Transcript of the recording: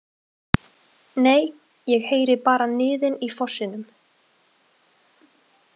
Nei, ég heyri bara niðinn í fossinum.